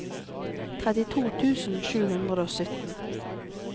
trettito tusen sju hundre og sytten